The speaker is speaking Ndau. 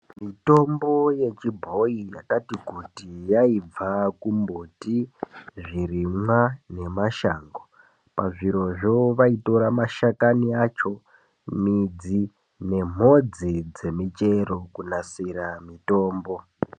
Mitombo yechibhoyi yakati kuti yaibva kumbuti ,zvirimwa nemashango , pazvirozvo vaitora mashakani acho midzi nemhodzi dzemichero kunasira mitombo.